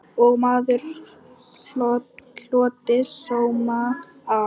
Og margur hlotið sóma af.